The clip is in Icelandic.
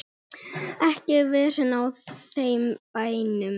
Ekkert vesen á þeim bænum.